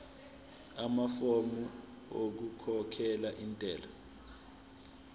amafomu okukhokhela intela